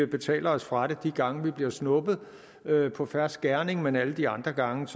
betaler os fra det de gange vi bliver snuppet på fersk gerning men alle de andre gange